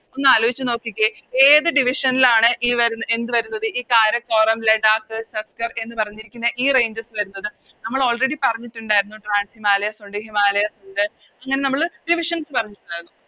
ഒന്നാലോയിച്ച് നോക്കിക്കേ ഏത് Division ലാണ് ഈ വരുന്നത് എന്ത് വരുന്നത് ഈ കാരക്കോറം ലഡാക്ക് സസ്കർ എന്ന് പറഞ്ഞിരിക്കുന്ന ഈ Ranges വരുന്നത് നമ്മളോ Already പറഞ്ഞിട്ടുണ്ടായിരുന്നു Trans ഹിമാലയാസ് ഒണ്ട് ഹിമാലയസ് ഒണ്ട് ഇങ്ങനെ നമ്മള് Divisions പറഞ്ഞിട്ടുണ്ടായിരുന്നു